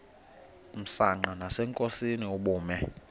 msanqa nasenkosini ubume